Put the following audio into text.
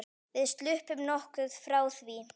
Við sluppum nokkuð frá því.